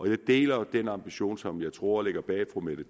jeg deler den ambition som jeg tror ligger bag fru mette